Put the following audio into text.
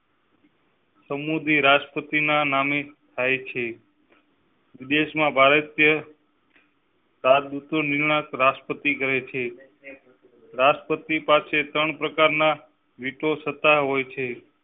સમુંડી રાષ્ટ્રપતિ ના નામે થાય છે. વિદેશ માં ભારતીય. સારું તો નિર્ણય રાષ્ટ્રપતિ કરેં છે, રાષ્ટ્રપતિ પાસે ત્રણ પ્રકાર ના વિટો સત્તા હોય છે